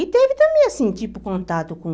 E teve também, assim, tipo, contato com...